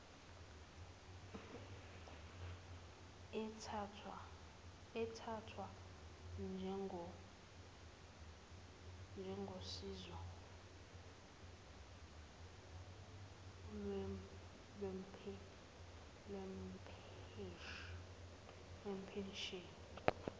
ethathwa njengosizo lwempesheni